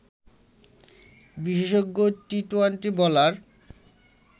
বিশেষজ্ঞ T twenty bowler